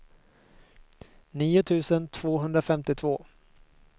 nio tusen tvåhundrafemtiotvå